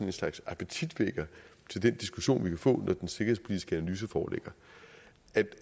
en slags appetitvækker til den diskussion vi kan få når den sikkerhedspolitiske analyse foreligger